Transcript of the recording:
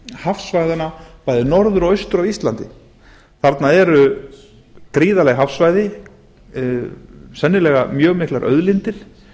hafsvæðanna bæði norður og austur af íslandi þarna eru gríðarleg hafsvæði sennilega mjög miklar auðlindir